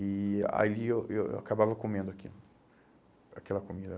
E ali eu eu acabava comendo aquilo, aquela comida.